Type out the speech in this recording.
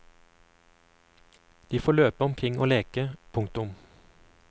De får løpe omkring og leke. punktum